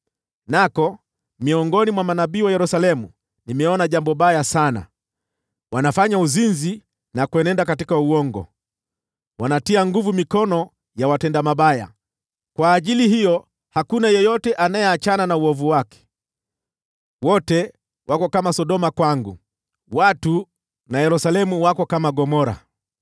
Nako miongoni mwa manabii wa Yerusalemu nimeona jambo baya sana: Wanafanya uzinzi na kuenenda katika uongo. Wanatia nguvu mikono ya watenda mabaya, kwa ajili hiyo hakuna yeyote anayeachana na uovu wake. Wote wako kama Sodoma kwangu; watu na Yerusalemu wako kama Gomora.”